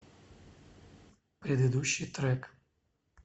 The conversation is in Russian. предыдущий трек